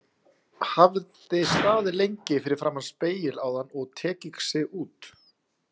Hafði staðið lengi fyrir framan spegil áðan og tekið sig út.